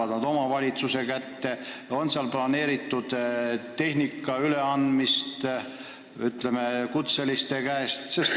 Kas need lähevad omavalitsuste kätte ja kas on kavas ka kutseliste tehnikat neile üle anda?